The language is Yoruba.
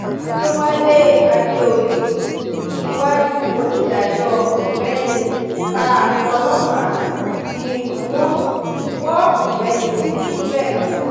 àdẹ̀wálé àdèoyè iwájú onídàájọ́ ọ̀gbẹ́ni ta pọ́lọ́pà ni wọ́n wọ ọ̀gbẹ́ni gilbert lọ